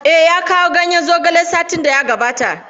Eh, ya kawo ganyen zogale satin da ya gabata.